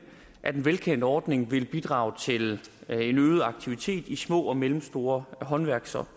af den velkendte ordning vil bidrage til en øget aktivitet i små og mellemstore håndværks og